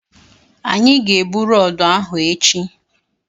Anyị ga-ebu rọọdụ ahụ echi